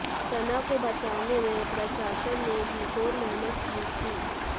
सना को बचाने में प्रशासन ने जी तोड़ मेहनत की थी